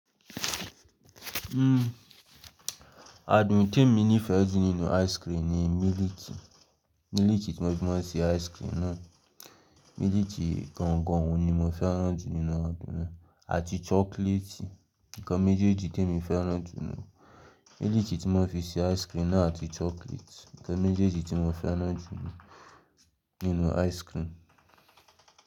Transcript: Hmm, àádùn tí mo nífẹ̀ẹ́ jù nínú ice cream ni mílìkì. Mílìkì tí wọ́n fi máa ń ṣe ice cream náà. Mílìkì gangan ni mo fẹ́ràn jù nínú àádùn náà àti chocolate. Ǹkan méjèjì tí mo fẹ́ràn jù lọ. Mílìkì tí wọ́n fi ṣe ice cream náà àti chocolate. Ǹkan méjèjì tí mo fẹ́ràn jù nínú ice cream.